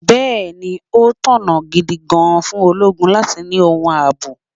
Bẹẹni, ó tọ̀nà gidi gan-an fún ológun láti ni ohun ààbò.